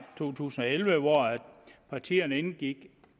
to tusind og elleve hvor partierne indgik